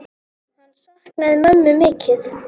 Hann saknaði mömmu mikið.